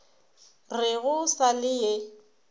re go sa le ye